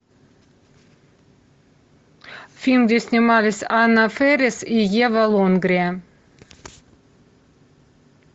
фильм где снимались анна фэрис и ева лонгрия